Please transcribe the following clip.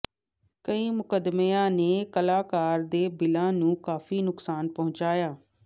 ਕਈ ਮੁਕੱਦਮਿਆਂ ਨੇ ਕਲਾਕਾਰ ਦੇ ਬਿੱਲਾਂ ਨੂੰ ਕਾਫ਼ੀ ਨੁਕਸਾਨ ਪਹੁੰਚਾਇਆ